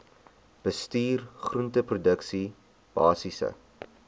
bestuur groenteproduksie basiese